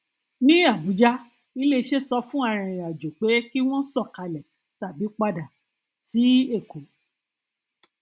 ní abuja iléiṣẹ sọ fún arìnrìnàjò pé kí wọn sọkalẹ tàbí padà sí èkó